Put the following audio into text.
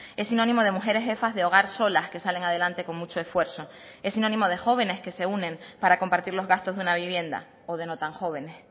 es sinónimo de mujeres jefas de hogar solas que salen adelante con mucho esfuerzo es sinónimo de jóvenes que se unen para compartir los gastos de una vivienda o de no tan jóvenes